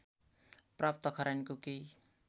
प्राप्त खरानीको केही